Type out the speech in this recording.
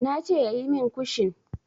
Ne ce yayi min kushin.